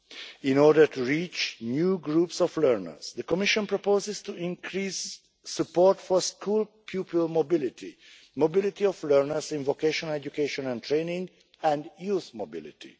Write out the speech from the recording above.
In order to reach new groups of learners, the Commission proposes to increase support for school pupil mobility, mobility of learners in vocational education and training, and youth mobility.